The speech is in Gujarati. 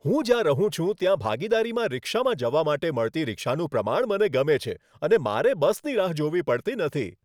હું જ્યાં રહું છું ત્યાં ભાગીદારીમાં રિક્ષામાં જવા માટે મળતી રિક્ષાનું પ્રમાણ મને ગમે છે અને મારે બસની રાહ જોવી પડતી નથી.